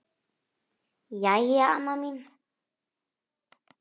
Jæja, amma mín.